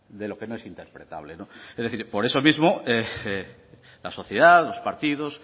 de lo que no es interpretable es decir por eso mismo la sociedad los partidos